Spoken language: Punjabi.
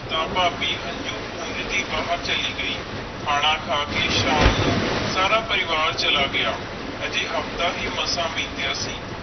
ਤਾ ਫਾਬੀ ਹੰਜੂ ਪੌਨਜ ਬਾਹਿਰ ਚਾਲੀ ਗਈ ਖਾਣਾ ਖਾ ਕੇ ਸ਼ਾਮ ਨੂੰ ਸਾਰਾ ਪਰਿਵਾਰ ਚਲਾ ਗਯਾ ਅਜੇ ਹਫਤਾ ਹੈ ਮਾਸ ਬੀਤਿਆ ਸੀ